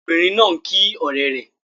Ọmọbìnrin náà ń kí ọ̀rẹ́ rẹ̀.